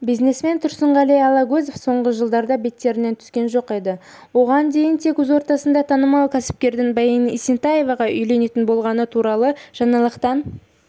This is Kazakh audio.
бизнесмен тұрсынғали алагөзов соңғы жылда беттерінен түскен жоқ еді оған дейін тек өз ортасында танымал кәсіпкердің баян есентаеваға үйленетін болғаны туралы жаңалықтан